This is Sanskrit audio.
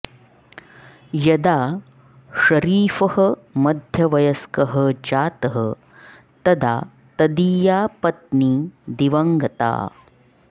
यदा षरीफः मध्यवयस्कः जातः तदा तदीया पत्नी दिवङगता